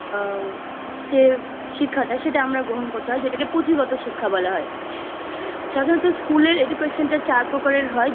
যে শেখাটা সেটা আমরা গ্রহণ করতে হয় যেটাকে পুঁথিগত শিক্ষা বলা হয় সাধারণত School এর Education টা চার প্রকারের হয়